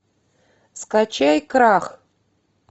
скачай крах